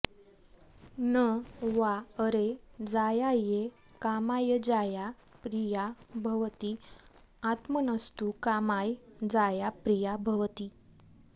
न॒ वा॒ अरे जाया॒यै का॒माय जाया॒ प्रिया॒ भवति आत्म॒नस्तु॒ का॒माय जाया॒ प्रिया॒ भवति